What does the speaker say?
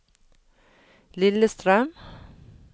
Lillestrøm